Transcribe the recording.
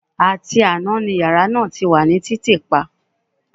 Àti àná ni yàrá náà ti wà ní títìpa